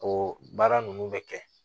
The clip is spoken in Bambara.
O baara ninnu bɛ kɛ